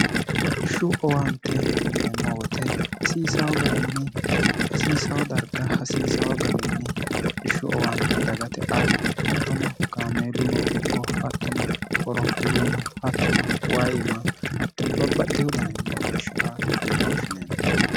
hodhishshu owaante yineemmo woyite hasiisaho garinni hasiisaho darga hasiisaho garinni hodhishshu owaante dagate a hattono gaameeluno ikko hattono orophiluno hattono waima hattono babbaxte hudanenni hodhishsha a yine woshshine